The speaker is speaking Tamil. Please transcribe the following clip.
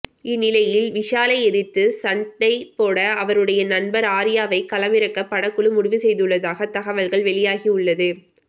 இந்நிலையில் விஷாலை எதிர்த்து சண்டை போட அவருடைய நண்பர் ஆர்யாவை களம் இறக்க படக்குழு முடிவு செய்துள்ளதாக தகவல்கள் வெளியாகியுள்ளது